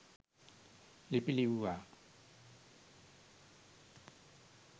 ලිපි ලිව්වා.